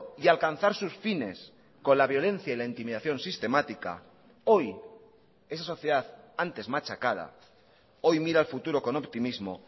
y alcanzar sus fines con la violencia y la intimidación sistemática hoy esa sociedad antes machacada hoy mira al futuro con optimismo